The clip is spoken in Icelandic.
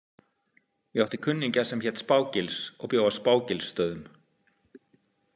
Ég átti kunningja sem hét Spá- Gils og bjó á Spá- Gilsstöðum.